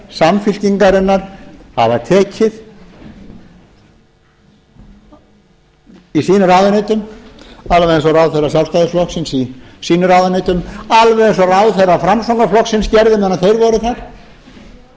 samfylkingarinnar hafa tekið í sínum ráðuneytum alveg eins og ráðherrar sjálfstæðisflokksins í sínum ráðuneytum alveg eins og ráðherrar framsóknarflokksins gerðu